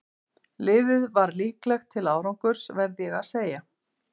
Liðið er líklegt til árangurs verð ég að segja.